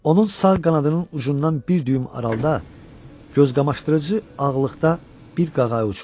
Onun sağ qanadının ucundan bir düyüm aralıda gözqamaşdırıcı ağlıqda bir qağayı uçurdu.